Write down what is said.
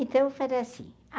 Então assim.